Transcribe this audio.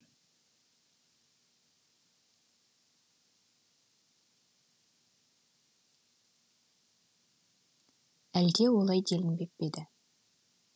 әлде олай делінбеп пе еді